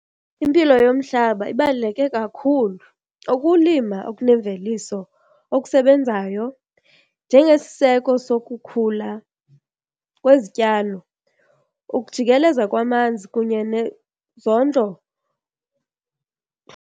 Impilo yomhlaba ibaluleke kakhulu ukulima okunemveliso okusebenzayo njengesiseko sokukhula kwezityalo, ukujikeleza kwamanzi kunye nezondlo.